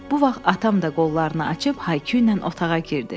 Bu vaxt atam da qollarını açıb Haiküylə otağa girdi.